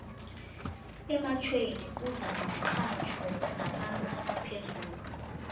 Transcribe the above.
ematjhweni kuza nomxhatjho nabantu abaphezulu